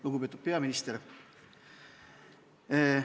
Lugupeetud peaminister!